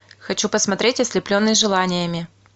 хочу посмотреть ослепленный желаниями